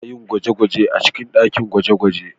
Ana yin gwaje-gwajen a cikin dakin gwaje-gwaje